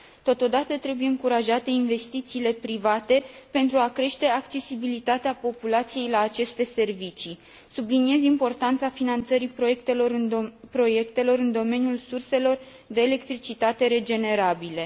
Totodată, trebuie încurajate investițiile private, pentru a crește accesibilitatea populației la aceste servicii. Subliniez importanța finanțării proiectelor în domeniul surselor de electricitate regenerabile.